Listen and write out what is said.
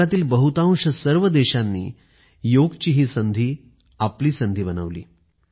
जगातील बहुतांश सर्व देशांनी योगची हि संधी आपली संधी बनवली